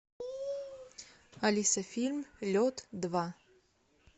алиса фильм лед два